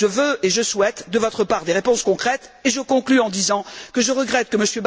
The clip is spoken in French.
Je veux et je souhaite de votre part des réponses concrètes et je conclus en disant que je regrette que M.